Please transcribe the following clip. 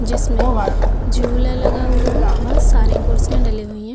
जिसमें झूला लगा हुआ है बोहोत सारी कुर्सियां डली हुईं हैं।